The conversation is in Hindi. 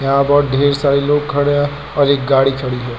यहां बहोत ढ़ेर सारे लोग खड़े हैं और एक गाड़ी खड़ी है।